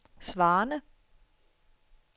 svarende